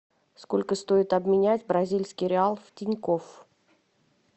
сколько стоит обменять бразильский реал в тинькофф